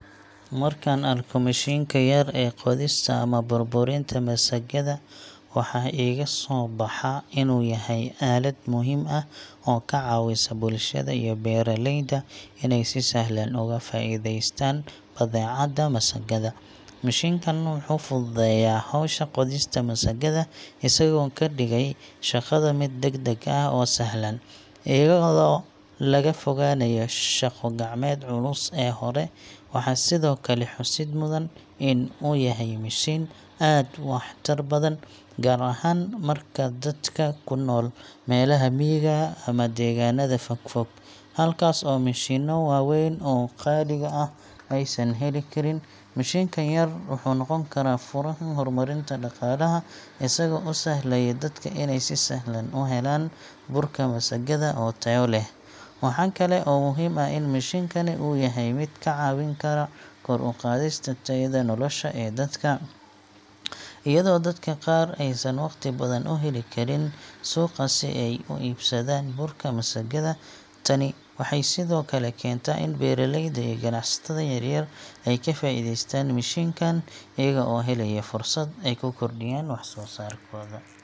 Markaan arko mishiinka yar ee qodista ama burburinta masagada, waxaa iga soo baxa in uu yahay aalad muhiim ah oo ka caawisa bulshada iyo beeralayda inay si sahlan uga faa'iideystaan badeecada masagada. Mishiinkaan wuxuu fududeeyaa howsha qodista masagada, isagoo ka dhigay shaqada mid degdeg ah oo sahlan, iyadoo laga fogaanayo shaqo gacmeedda culus ee hore. Waxaa sidoo kale xusid mudan in uu yahay mishiin aad u waxtar badan, gaar ahaan dadka ku nool meelaha miyiga ama deegaanada fog-fog, halkaas oo mishiinno waaweyn oo qaaliga ah aysan heli karin. Mishiinkan yar wuxuu noqon karaa furaha horumarinta dhaqaalaha, isagoo u sahlaya dadka inay si sahlan u helaan burka masagada oo tayo leh. Waxaa kale oo muhiim ah in mishiinkani uu yahay mid ka caawin kara kor u qaadista tayada nolosha ee dadka, iyadoo dadka qaar aysan waqti badan u heli karin suuqa si ay u iibsadaan burka masagada. Tani waxay sidoo kale keentaa in beeralayda iyo ganacsatada yaryar ay ka faa’iideystaan mishiinkaan, iyaga oo helaya fursad ay ku kordhiyaan wax-soo-saarkooda.